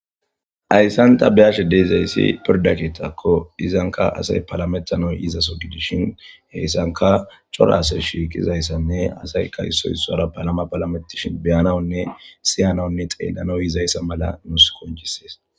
Hayssan ta be7ashe dizayssi pirdde keeththako ankka asay palametanaw yizaso gidishin hessankka cora asay shiiqizayssanne issoy issuwara palama palametishin beyanawunne si7anaw xeelanaw yizayssa mala nus qonccisees.